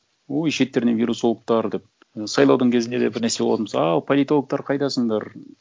ой шеттерінен вирусологтар деп сайлаудың кезінде де бір нәрсе болатын болса ау политологтар қайдасындар